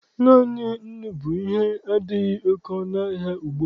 Naanị nnu bụ ihe adịghị oke ọnụahịa ugbua.